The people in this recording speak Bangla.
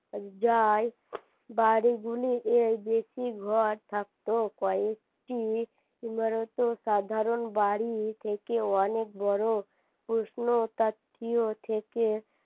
যাই বাড়িগুলি এই বেশি ঘর থাকতো কয়েকটি সাধারণ বাড়ি থেকে অনেক বড় প্রশ্নতাত্ত্বিয় থেকে